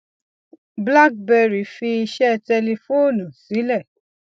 blackberry fi iṣẹ tẹlifóònù sílẹ